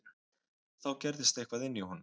Þá gerðist eitthvað inní honum.